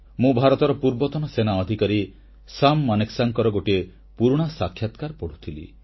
ମୁଁ ଭାରତର ପୂର୍ବତନ ସେନା ଅଧିକାରୀ ସାମ୍ ମାନେକ୍ସାଙ୍କର ଗୋଟିଏ ପୁରୁଣା ସାକ୍ଷାତକାର ପଢ଼ୁଥିଲି